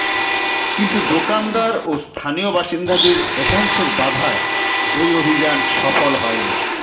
কিন্তু দোকানদার ও স্থানীয় বাসিন্দাদের একাংশের বাধায় ওই অভিযান সফল হয়নি